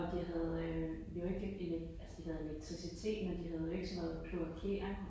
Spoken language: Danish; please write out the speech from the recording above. Og de havde vi var ikke rigtig altså de havde elektricitet men de havde jo ikke sådan noget kloakering